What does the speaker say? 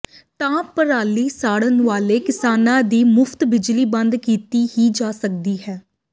ਤਾਂ ਪਰਾਲੀ ਸਾੜਨ ਵਾਲੇ ਕਿਸਾਨਾਂ ਦੀ ਮੁਫ਼ਤ ਬਿਜਲੀ ਬੰਦ ਕੀਤੀ ਹੀ ਜਾ ਸਕਦੀ ਹੈ